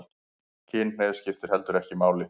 Kynhneigð skiptir heldur ekki máli